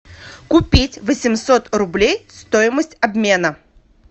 купить восемьсот рублей стоимость обмена